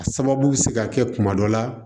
A sababu bɛ se ka kɛ kuma dɔ la